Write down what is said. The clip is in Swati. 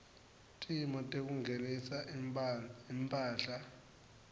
timo tekungenisa imphahla